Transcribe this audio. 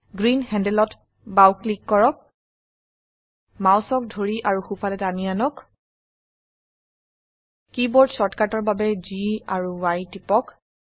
green handleত বাও click কৰক মাউসক ধৰি আৰু সোফালে টানি আনক কীবোৰ্ড শৰ্টকাটৰ বাবে G এএমপি Y টিপক